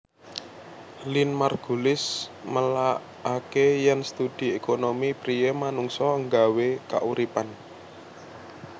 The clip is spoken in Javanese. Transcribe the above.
Lynn Margulis nelakaké yèn studi ékonomi priyé manungsa nggawé kauripan